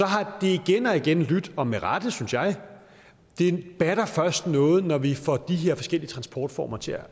har det igen og igen lydt og med rette synes jeg det batter først noget når vi får de her forskellige transportformer til